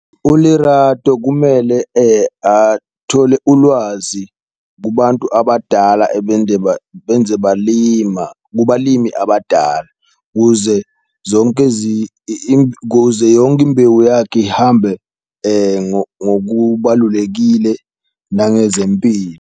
ULerato kumele athole ulwazi kubantu abadala ebende benze balima kubalimi abadala, kuze zonke kuze yonke imbewu yakhe ihambe ngokubalulekile nangezempilo.